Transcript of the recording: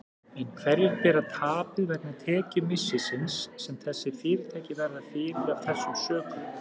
En hverjir bera tapið vegna tekjumissisins sem þessi fyrirtæki verða fyrir af þessum sökum?